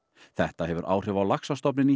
þetta hefur áhrif á laxastofninn í